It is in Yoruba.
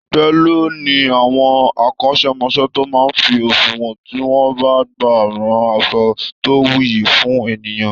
Télọ̀ ni àwọn akọ́ṣẹmọṣẹ́ tó máa ń fi òṣùwọn tí wọ́n bá gba rán aṣọ tó wuyì fún ènìyàn